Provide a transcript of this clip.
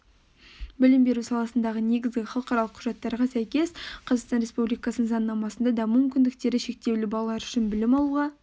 білім беру саласындағы негізгі халықаралық құжаттарға сәйкес қазақстан республикасының заңнамасында даму мүмкіндіктері шектеулі балалар үшін білім алуға